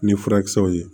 Ni furakisɛw ye